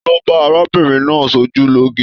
Talo ba arábìnrin náà sojuloge?